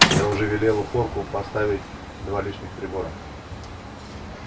я уже велела порку поставить два лишних прибора